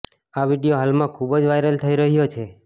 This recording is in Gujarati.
આ વીડિયો હાલમાં ખૂબ જ વાયરલ થઇ રહ્યો છે